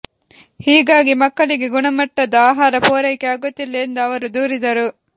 ಹೀಗಾಗಿ ಮಕ್ಕಳಿಗೆ ಗುಣಮಟ್ಟದ ಆಹಾರ ಪೂರೈಕೆ ಆಗುತ್ತಿಲ್ಲ ಎಂದು ಅವರು ದೂರಿದರು